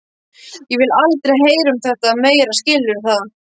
Ég vil aldrei heyra um þetta meira, skilurðu það?